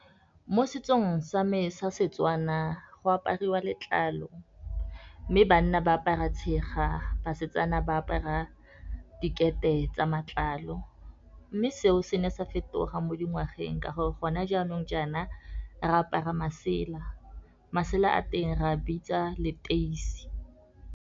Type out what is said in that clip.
Mo setsong sa me Setswana go apariwa letlalo, mme banna ba apara tshega. Basetsana ba apara dikete tsa matlalo, mme seo se ne sa fetoga mo dingwageng ka gore, gona jaanong jaana re apara masela. Masela a teng re a bitsa leteisi.